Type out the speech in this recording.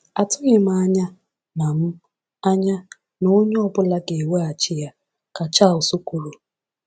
“Atụghị m anya na m anya na onye ọ bụla ga-eweghachi ya,” ka Charles kwuru.